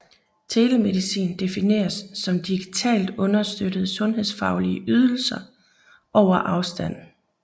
Telemedicin defineres som digitalt understøttede sundhedsfaglige ydelser over afstand